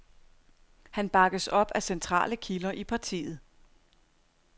Han bakkes op af centrale kilder i partiet.